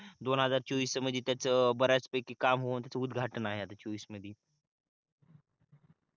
दोन हजार चोवीस च्या मध्ये त्याच बर्याचपैकी काम होऊन त्याच उदघाटन आहे आता चोवीस मध्ये